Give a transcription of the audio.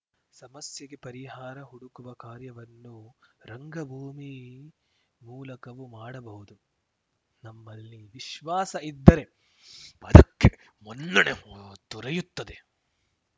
ಸಮಸ್ಯೆಗೆ ಪರಿಹಾರ ಹುಡುಕುವ ಕಾರ್ಯವನ್ನು ರಂಗಭೂಮಿ ಮೂಲಕವೂ ಮಾಡಬಹುದು ನಮ್ಮಲ್ಲಿ ವಿಶ್ವಾಸ ಇದ್ದರೆ ಅದಕ್ಕೆ ಮನ್ನಣೆ ದೊರೆಯುತ್ತದೆ